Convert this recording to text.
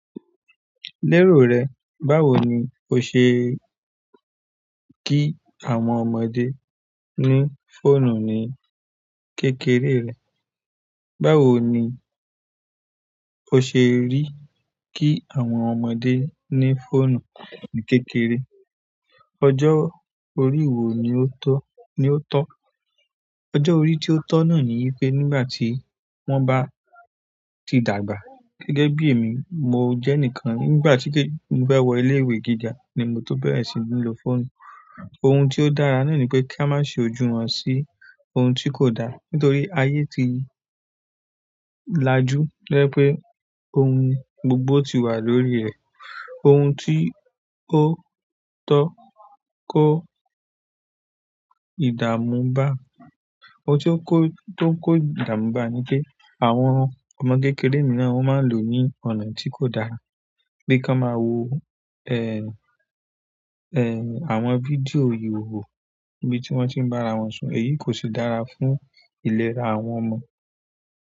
Lérò rẹ, báwo ni o ṣe kí àwọn ọmọdé ní fóònù ní kékeré rẹ? Báwo ni o ṣe rí kí àwọn ọmọdé ní fóònù ní kékeré? Ọjọ́ orí wo ni ó tọ́, ni ó tọ́? Ọjọ́ orí tí ó tọ́ náà ni pé nígbà tí wọ́n bá ti dàgbà. Gẹ́gẹ́ bí èmi, mo jẹ́ enìkan nígbà tí mo fe wọ ilé-ìwé gíga ni mo tó bẹ̀rẹ̀ sí ní lo fóònù. Ohun tí ó dára náà ni pé kí a má ṣi ojú wọn sí ohun tí kò dá. Nítorí ayé ti lajú, to jẹ́ pe ohun gbogbo ti wà lórí ẹ̀. Ohun tí ó tọ́ kó ìdààmú bá, ohun tí ó tọ́ kó ìdààmú bá ni pé àwọn ọmọ kékeré mìíràn won máa n lò ó ní ọ̀nà tí kò dára. Bí kí wọ́n máa wo, àwọn fídíò ìhòòhò níbi tí wọ́n tí ń bá ara wọn sun. Èyí kò ṣe dára fún ìlera àwọn ọmọ.